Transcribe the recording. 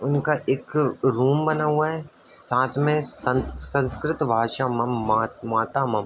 उनका एक रूम बना हुआ है साथ में सशं संस्‍कृत भाषा मा माता मम --